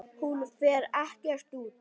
Hún fer ekkert út!